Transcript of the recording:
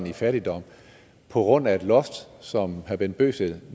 i fattigdom på grund af et loft som herre bent bøgsted